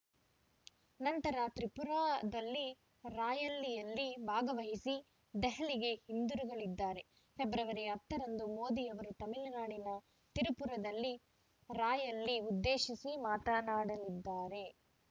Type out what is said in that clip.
ನಂತರ ತ್ರಿಪುರಾದಲ್ಲಿ ರಾಯಲಿಯಲ್ಲಿ ಭಾಗವಹಿಸಿ ದೆಹಲಿಗೆ ಹಿಂದಿರುಗಲಿದ್ದಾರೆ ಫೆಬ್ರವರಿ ಹತ್ತ ರಂದು ಮೋದಿ ಅವರು ತಮಿಳುನಾಡಿನ ತಿರುಪುರದಲ್ಲಿ ರಾಯಲಿ ಉದ್ದೇಶಿಸಿ ಮಾತನಾಡಲಿದ್ದಾರೆ